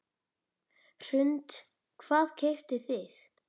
Hrund: Hvað keyptuð þið?